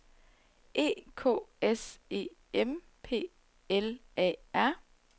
E K S E M P L A R